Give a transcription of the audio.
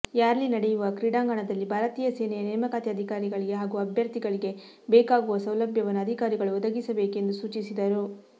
rally ನಡೆಯುವ ಕ್ರೀಡಾಂಗಣದಲ್ಲಿ ಭಾರತೀಯ ಸೇನೆಯ ನೇಮಕಾತಿ ಅಧಿಕಾರಿಗಳಿಗೆ ಹಾಗೂ ಅಭ್ಯರ್ಥಿಗಳಿಗೆ ಬೇಕಾಗುವ ಸೌಲಭ್ಯವನ್ನು ಅಧಿಕಾರಿಗಳು ಒದಗಿಸಬೇಕು ಎಂದು ಸೂಚಿಸಿದರು